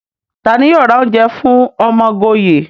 Tani yoo ra ounje fun Omogoye?